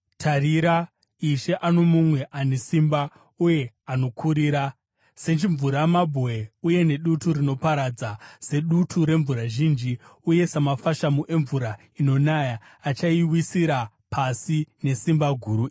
Tarira, Ishe ano mumwe ane simba uye anokurira. Sechimvuramabwe uye nedutu rinoparadza, sedutu remvura zhinji uye samafashamu emvura inonaya, achaiwisira pasi nesimba guru.